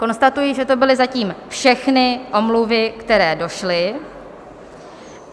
Konstatuji, že to byly zatím všechny omluvy, které došly.